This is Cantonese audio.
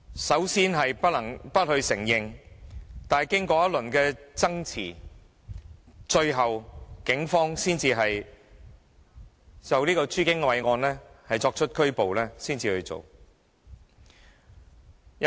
首先不承認，但是經過一輪的爭持，最後警方才就朱經緯案作出拘捕。